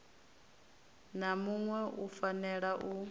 na muṋwe u fanela u